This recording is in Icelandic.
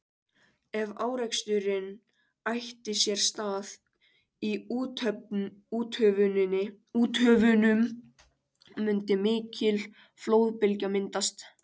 Ef áreksturinn ætti sér stað í úthöfunum mundi mikil flóðbylgja myndast.